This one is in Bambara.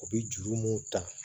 U bɛ juru mun ta